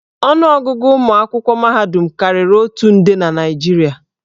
Ọnụ ọgụgụ ụmụ akwụkwọ mahadum karịrị otu nde na Naịjirịa.